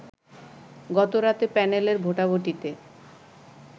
গতরাতে প্যানেলের ভোটাভুটিতে